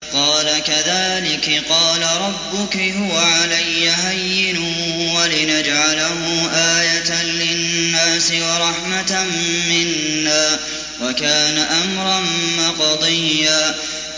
قَالَ كَذَٰلِكِ قَالَ رَبُّكِ هُوَ عَلَيَّ هَيِّنٌ ۖ وَلِنَجْعَلَهُ آيَةً لِّلنَّاسِ وَرَحْمَةً مِّنَّا ۚ وَكَانَ أَمْرًا مَّقْضِيًّا